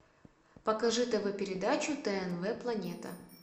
покажи тв передачу тнв планета